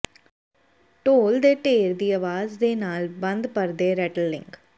ਢੋਲ ਦੇ ਢੇਰ ਦੀ ਆਵਾਜ਼ ਦੇ ਨਾਲ ਬੰਦ ਪਰਦੇ ਰੈਟਲਲਿੰਗ